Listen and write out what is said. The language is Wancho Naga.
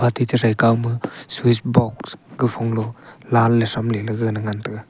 ate chethre kawma switch box gaphonglo line le thramle lega ngan taiga.